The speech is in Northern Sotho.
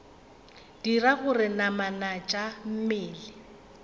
dira gore namana tša mmele